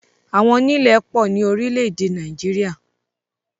Àwọńilẹ̀ pọ ni orílẹ̀-èdè Nàìjíríà.